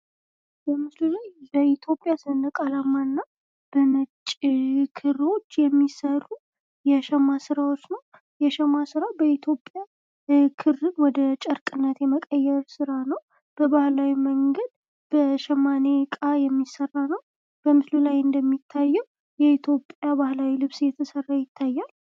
በምስሉ ላይ በኢትዮጵያ ሰንደቅ አላማ እና በነጭ ክሮች የሚሰሩ የሸማ ስራዎች ነው። የሸማ ስራ በኢትዮጵያ ክርን ወደ ጨርቅነት የመቀየር ስራ ነው። በባህላዊ መንገድ በሸማኔ እቃ የሚሰራ ነው። በምስሉ ላይ እንደሚታዬው የኢትዮጵያ ባህላዊ ልብስ እየተሰራ ይታያል።